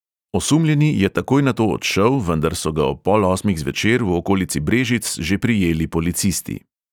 Osumljeni je takoj nato odšel, vendar so ga ob pol osmih zvečer v okolici brežic že prijeli policisti.